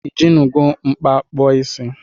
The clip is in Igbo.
Ijinugo mkpa kpụọ isi?